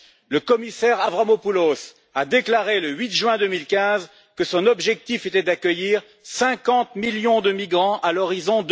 Le commissaire Avramopoulos a déclaré le 8 juin 2015 que son objectif était d'accueillir 50 millions de migrants à l'horizon